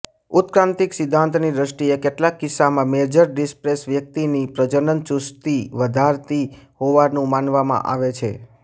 ઉત્ક્રાંતિક સિદ્ધાંતની દૃષ્ટએ કેટલાક કિસ્સામાં મેજર ડિપ્રેસન વ્યક્તિની પ્રજનન ચુસ્તી વધારતી હોવાનું માનવામાં આવે છે